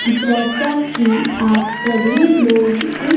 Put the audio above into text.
जैसा कि आप सभी लोग इस--